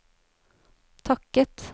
takket